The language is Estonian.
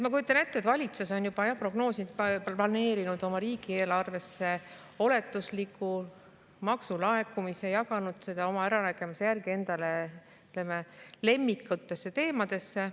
Ma kujutan ette, et valitsus on juba prognoosinud, planeerinud riigieelarvesse oletusliku maksulaekumise, jaganud seda oma äranägemise järgi enda lemmikutesse teemadesse.